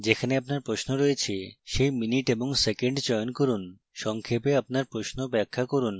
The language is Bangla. যেখানে আপনার প্রশ্ন রয়েছে সেই minute এবং second চয়ন করুন